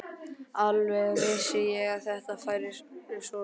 Alveg vissi ég að þetta færi svona!